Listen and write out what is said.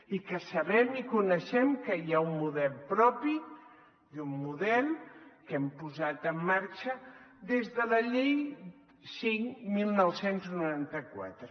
i que sabem i coneixem que hi ha un model propi i un model que hem posat en marxa des de la llei cinc dinou noranta quatre